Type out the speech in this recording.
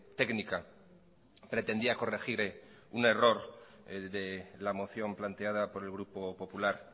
técnica pretendía corregir un error el de la moción planteada por el grupo popular